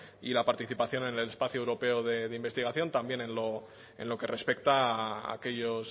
y la participación en el espacio europeo de investigación también en lo que respecta a aquellos